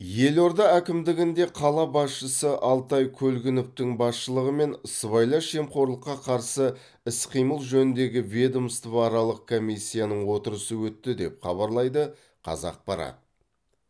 елорда әкімдігінде қала басшысы алтай көлгіновтің басшылығымен сыбайлас жемқорлыққа қарсы іс қимыл жөніндегі ведомствоаралық комиссияның отырысы өтті деп хабарлайды қазақпарат